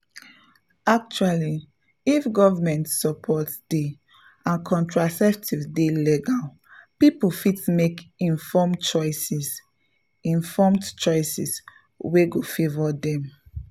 actually if government support dey and contraceptives dey legal people fit make informed choices informed choices wey go favour dem.